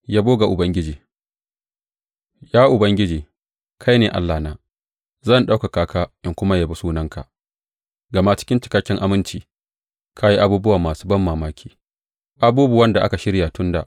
Yabo ga Ubangiji Ya Ubangiji, kai ne Allahna; zan ɗaukaka ka in kuma yabi sunanka, gama cikin cikakken aminci ka yi abubuwa masu banmamaki, abubuwan da aka shirya tun da.